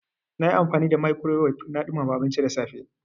Na yi amfani da microwave na ɗumama abinci da safe.